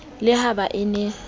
le ha ba e na